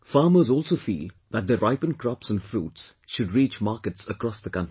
Farmers also feel that their ripened crops and fruits should reach markets across the country